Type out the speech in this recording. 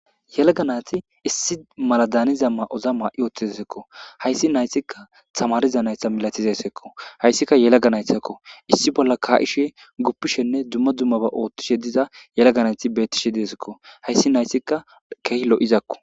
Yelaga nati issi mala daaniza ma7oza maa7i ooththi dsekko hayssi nayssikka tamariza naytha milatizessekko hayssika yelaganaythzakko issi bolla kaa7ishe goppishenne dumma dummaba oothtishe diza yelaganayti bettishe deesekko hayssi nayssikka keeh lo7izakko.